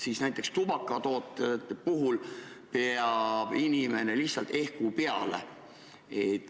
Aga näiteks tubakatoodete puhul peab inimene minema lihtsalt ehku peale.